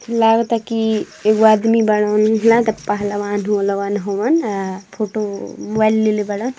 लागता की एगो आदमी बाड़न। लागता पहलवान वोहलवान हवन। आ फोटो मोबाइल लेले बाड़न |